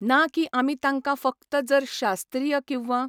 ना की आमी तांकां फकत जर शास्त्रीय किंवा